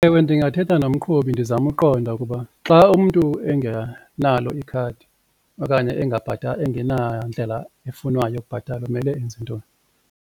Ewe, ndingathetha nomqhubi ndizame uqonda ukuba xa umntu engenalo ikhadi okanye engenandlela efunwayo yokubhatala kumele enze ntoni.